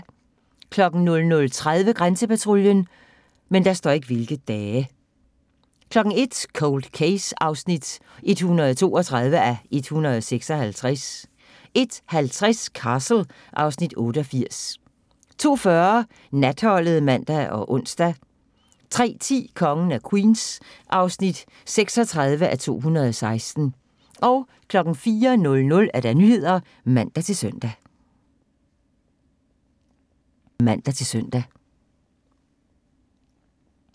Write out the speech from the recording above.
00:30: Grænsepatruljen 01:00: Cold Case (132:156) 01:50: Castle (Afs. 88) 02:40: Natholdet (man og ons) 03:10: Kongen af Queens (36:216) 04:00: Nyhederne (man-søn)